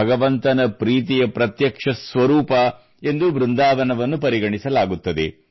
ಭಗವಂತನ ಪ್ರೀತಿಯ ಪ್ರತ್ಯಕ್ಷ ಸ್ವರೂಪ ಎಂದು ಬೃಂದಾವನವನ್ನು ಪರಿಗಣಿಸಲಾಗುತ್ತದೆ